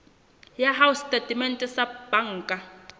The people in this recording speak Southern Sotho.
ya hao setatementeng sa banka